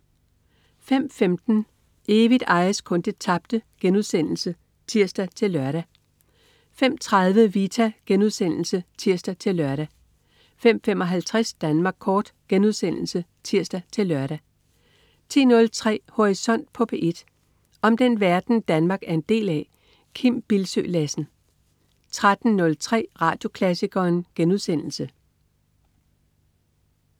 05.15 Evigt ejes kun det tabte* (tirs-lør) 05.30 Vita* (tirs-lør) 05.55 Danmark Kort* (tirs-lør) 10.03 Horisont på P1. Om den verden, Danmark er en del af. Kim Bildsøe Lassen 13.03 Radioklassikeren*